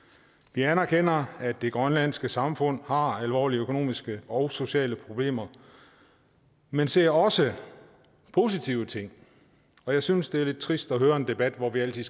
vi anerkender at det grønlandske samfund har alvorlige økonomiske og sociale problemer men ser også positive ting og jeg synes det er lidt trist at høre en debat hvor vi altid